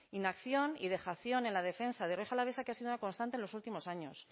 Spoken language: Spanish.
inacción y dejación en la defensa de rioja alavesa que ha sido una constante en los últimos años